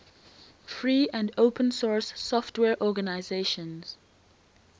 free and open source software organizations